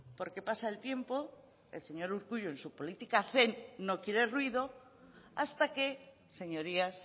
porque pasa el tiempo el señor urkullu en su política zen no quiere ruido hasta que señorías